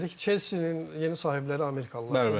Chelseanin yeni sahibləri Amerikalılardı, düzdürmü?